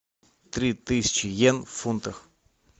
три тысячи йен в фунтах